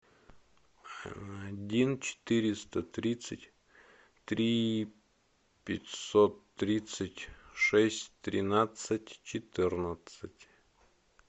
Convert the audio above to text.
один четыреста тридцать три пятьсот тридцать шесть тринадцать четырнадцать